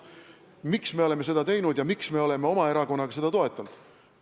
Miks me oleme seda teinud ja miks meie erakond on seda toetanud?